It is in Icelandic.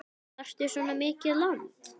Þarftu svona mikið land?